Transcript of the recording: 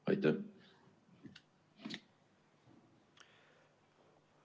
Aitäh!